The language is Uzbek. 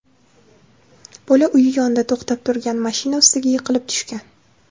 Bola uyi yonida to‘xtab turgan mashina ustiga yiqilib tushgan.